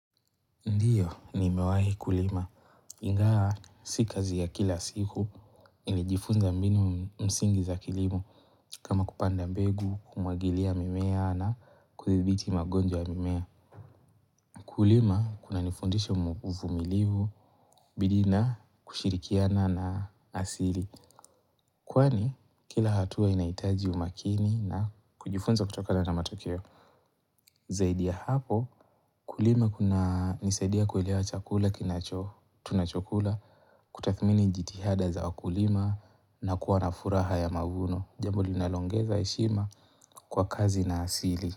Ndiyo, nimewahi kulima. Ingawa, si kazi ya kila siku, nilijifunza mbinu msingi za kilimo. Kama kupanda mbegu, kumwagilia mimea na kudhibiti magonjwa ya mimea. Kulima, kunanifundisha uvumilivu, bidii na kushirikiana na asili. Kwani, kila hatua inahitaji umakini na kujifunza kutokana na matokeo Zaidi ya hapo, kulima kunanisaidia kuelewa chakula Tunachokula kutathmini jitihada za wakulima na kuwa na furaha ya mavuno Jambo linaloongeza heshima kwa kazi na asili.